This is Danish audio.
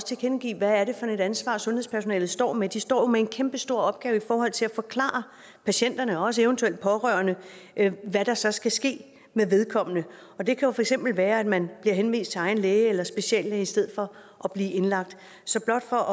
tilkendegive hvad det er for et ansvar sundhedspersonalet står med de står jo med en kæmpestor opgave i forhold til at forklare patienterne og også eventuelle pårørende hvad der så skal ske med vedkommende og det kan jo for eksempel være at man bliver henvist til egen læge eller speciallæge i stedet for at blive indlagt så blot for